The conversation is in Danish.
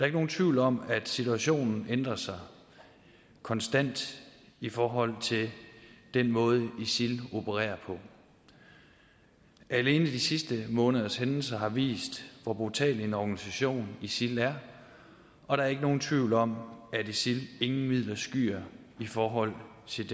ikke nogen tvivl om at situationen ændrer sig konstant i forhold til den måde isil opererer på alene de sidste måneders hændelser har vist hvor brutal en organisation isil er og der er ikke nogen tvivl om at isil ingen midler skyer i forhold til